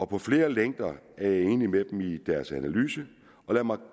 på flere længder er jeg enig med dem i deres analyse og lad mig